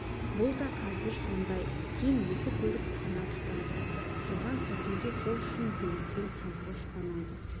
бұл да қазір сондай сен есі көріп пана тұтады қысылған сәтінде қол ұшын берген қамқоршы санайды